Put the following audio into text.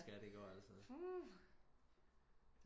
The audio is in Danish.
Skal det gå til